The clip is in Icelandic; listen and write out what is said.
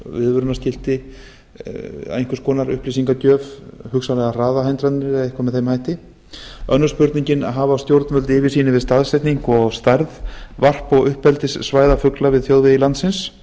ég á við á viðvörunarskilti upplýsingagjöf hugsanlegar hraðahindranir eða eitthvað með þeim hætti annars hafa stjórnvöld yfirsýn yfir staðsetningu og stærð varp og uppeldissvæða fugla við þjóðvegi landsins